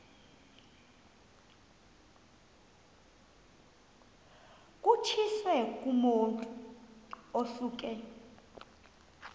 kutshiwo kumotu osuke